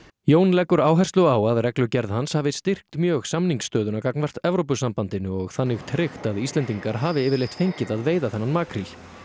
Jón leggur áherslu á að reglugerð hans hafi styrkt mjög samningsstöðuna gagnvart Evrópusambandinu og þannig tryggt að Íslendingar hafi yfirleitt fengið að veiða þennan makríl